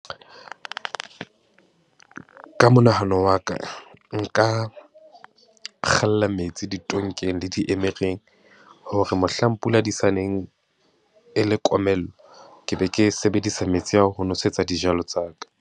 Ka monahano wa ka, nka kgalla metsi ditonkeng le diemereng, hore mohlang pula di sa neng e le komello, ke be ke sebedisa metsi ao ho nosetsa dijalo tsa ka.